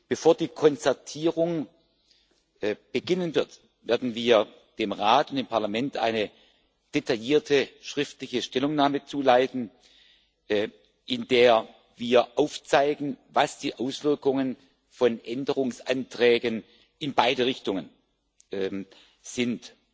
Bevor die Konzertierung beginnen wird, werden wir dem Rat und dem Parlament eine detaillierte schriftliche Stellungnahme zuleiten, in der wir aufzeigen, was die Auswirkungen von Änderungsanträgen in beide Richtungen sind.